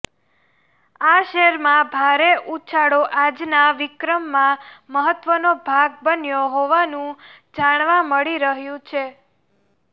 આ શેરમાં ભારે ઉછાળો આજના વિક્રમમાં મહત્વનો ભાગ બન્યો હોવાનું જાણવા મળી રહ્યું છે